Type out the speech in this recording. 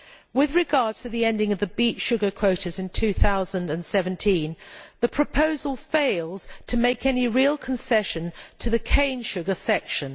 With regard to the ending of the beet sugar quotas in 2017, the proposal fails to make any real concession to the cane sugar sector.